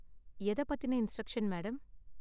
எதை பத்தின instruction madam